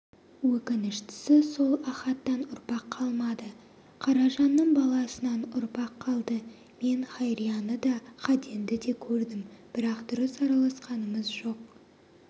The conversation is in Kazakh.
өкініштісі сол ахаттан ұрпақ қалмады қаражанның баласынан ұрпақ қалды мен хайрияны да қаденді де көрдім бірақ дұрыс араласқанымыз жоқ